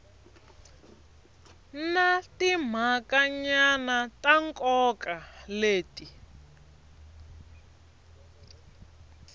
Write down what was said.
na timhakanyana ta nkoka leti